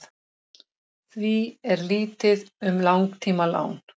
því er lítið um langtímalán